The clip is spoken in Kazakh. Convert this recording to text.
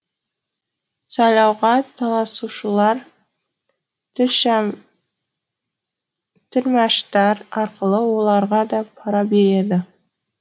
сайлауға таласушылар тілмәштар арқылы оларға да пара береді